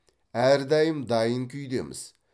әрдайым дайын күйдеміз